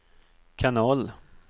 kanal